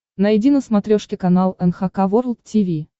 найди на смотрешке канал эн эйч кей волд ти ви